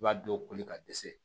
I b'a dɔw koli ka dɛsɛ